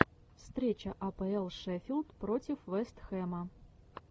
встреча апл шеффилд против вест хэма